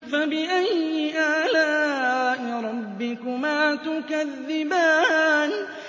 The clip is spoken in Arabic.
فَبِأَيِّ آلَاءِ رَبِّكُمَا تُكَذِّبَانِ